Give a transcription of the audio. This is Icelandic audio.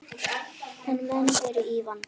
En menn eru í vanda.